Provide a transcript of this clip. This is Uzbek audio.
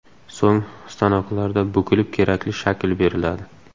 So‘ng stanoklarda bukilib kerakli shakl beriladi.